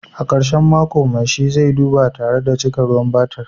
A karshen mako, mai shi zai duba tare da cika ruwan batir